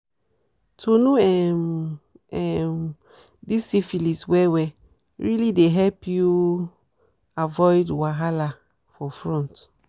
to know um um this syphilis well well realy dey help you avoid wahala for front